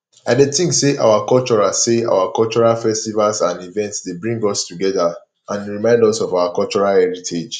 i dey think say our cultural say our cultural festivals and events dey bring us together and remind us of our heritage